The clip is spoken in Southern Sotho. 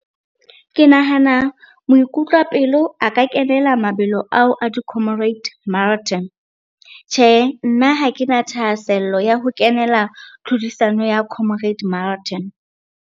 Ke nahana moikutlwapelo a ka kenela mabelo ao a di-comrade marathon. Tjhe, nna ha ke na thahasello ya ho kenela tlhodisano ya comrade marathon.